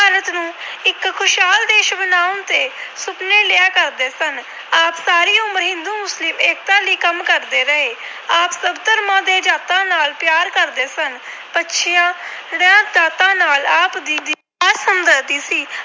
ਸੁਪਨੇ ਲਿਆ ਕਰਦੇ ਸਨ। ਆਪ ਸਾਰੀ ਉਮਰ ਹਿੰਦੂ-ਮੁਸਲਿਮ ਏਕਤਾ ਲਈ ਕੰਮ ਕਰਦੇ ਰਹੇ। ਆਪ ਸਭ ਧਰਮਾਂ ਤੇ ਜਾਤਾਂ ਨਾਲ ਪਿਆਰ ਕਰਦੇ ਸਨ। ਪੱਛੜੀਆਂ ਜਾਤਾਂ ਨਾਲ ਆਪ ਜੀ ਦੀ ਖਾਸ ਹਮਦਰਦੀ ਸੀ।